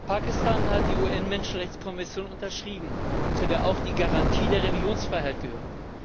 Pakistan hat die UN Menschenrechtskonvention unterschrieben, zu der auch die Garantie der Religionsfreiheit gehört.